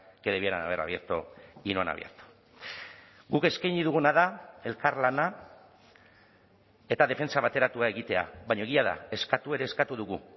que debieran haber abierto y no han abierto guk eskaini duguna da elkarlana eta defentsa bateratua egitea baina egia da eskatu ere eskatu dugu